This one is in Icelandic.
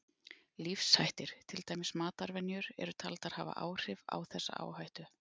Lífshættir, til dæmis matarvenjur, eru taldir hafa áhrif á þessa áhættu.